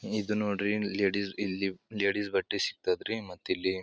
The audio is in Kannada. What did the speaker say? ಇದ್ ನೋಡ್ರಿ ಲೇಡೀಸ್ ಇಲ್ಲಿ ಲೇಡೀಸ್ ಬಟ್ಟೆ ಸಿಗ್ತದ್ರಿ ಮತ್ತ ಇಲ್ಲಿ --